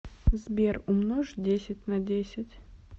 сбер умножь десять на десять